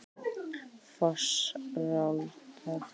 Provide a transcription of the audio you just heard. Fossárdal